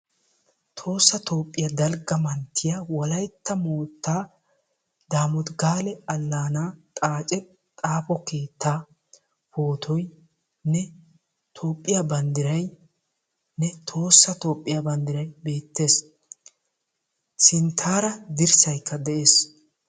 tohossa toophiyaa dalgga manttiyaa wollaytta moottaa damooti gaale allaanaa xaacce xaapo keettaa poottoynne toophiyaa banddiraynne tohossa toophiyaa banddiray beettees. Sinttaara dirssaykka de"ees.